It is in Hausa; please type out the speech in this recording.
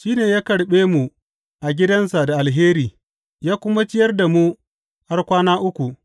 Shi ne ya karɓe mu a gidansa da alheri ya kuma ciyar da mu har kwana uku.